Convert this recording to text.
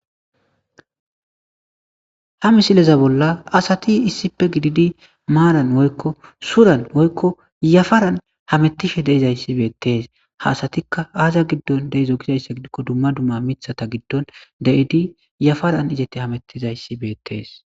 Ha misileza bolla asat issipe gidid maran woyko suran woyko yafaran hamutishe dizays betes. ha asatika aza gidon dizo gizaysa gidikon dumma dumma mithata l gidon de'id yafaran izet hametizays betes.